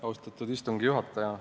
Austatud istungi juhataja!